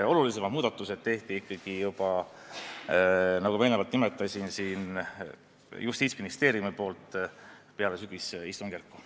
Olulisemad muudatused tegi Justiitsministeerium ikkagi juba, nagu ma eelnevalt nimetasin, peale sügisistungjärku.